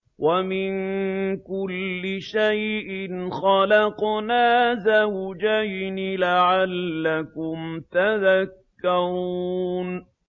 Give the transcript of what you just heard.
وَمِن كُلِّ شَيْءٍ خَلَقْنَا زَوْجَيْنِ لَعَلَّكُمْ تَذَكَّرُونَ